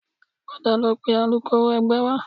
Padà lọ pe alukoro ẹgbẹ́ wá